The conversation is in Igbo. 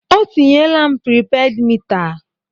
O tinyela m pripeed mita!